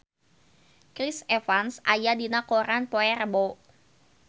Chris Evans aya dina koran poe Rebo